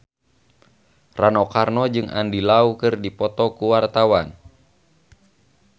Rano Karno jeung Andy Lau keur dipoto ku wartawan